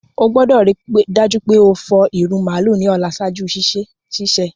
O gbọ́dọ̀ rii dájú pe o fọ ìrù màálù ni ọ̀la ṣaaju sísẹ̀.